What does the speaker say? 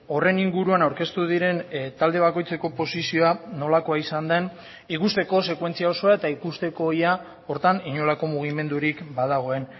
horren inguruan aurkeztu diren talde bakoitzeko posizioa nolakoa izan den ikusteko sekuentzia osoa eta ikusteko ia horretan inolako mugimendurik badagoen